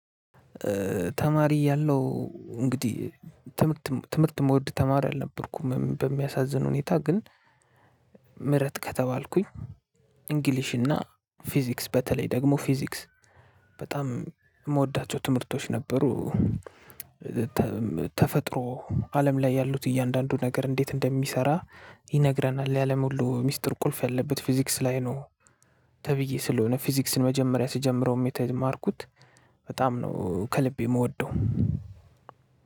ተማሪ እያለው እንግዲህ ትምህርትም ትምህርት እምወድ ተማሪ አልነበርኩም በሚያሳዝን ሁኔታ ግን ምረጥ ከተባልኩኝ እንግሊሽ እና ፊዚክስ በተለይ ደግሞ ፊዚክስ በጣም እምወዳቸው ትምህርቶች ነበሩ። ተፈጥሮ አለም ላይ ያሉት እያንዳንዱ ነገር እንዴት እንደሚሰራ ይነግረናል የአለም ሁሉ ሚስጥር ቁልፍ ያለበት ፊዚክስ ላይ ነው። ተብዬ ስለሆነ ፊዚክስን መጀመሪያ ስጀምረውም የተማርኩት በጣም ነው ከልቤ እምወደው